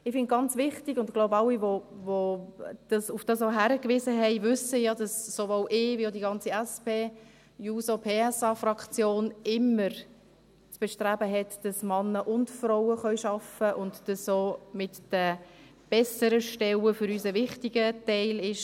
Ich finde es ganz wichtig, und ich denke, alle, die darauf hingewiesen haben, wissen auch, dass sowohl ich als auch die ganze SP-JUSO-PSAFraktion immer das Bestreben haben, dass Männer und Frauen arbeiten können und dass für uns auch bessere Stellen ein wichtiger Teil sind.